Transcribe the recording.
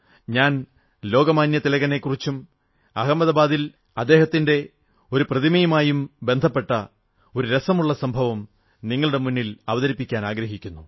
ഞാൻ ലോകമാന്യ തിലകനെക്കുറിച്ചും അഹമദാബാദിൽ അദ്ദേഹത്തിന്റെ ഒരു പ്രതിമയുമായും ബന്ധപ്പെട്ട ഒരു രസമുള്ള സംഭവം നിങ്ങളുടെ മുന്നിൽ അവതരിപ്പിക്കാനാഗ്രഹിക്കുന്നു